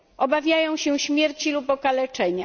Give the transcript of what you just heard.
Obawiają się śmierci lub okaleczenia.